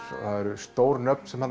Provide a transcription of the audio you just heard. það eru stór nöfn sem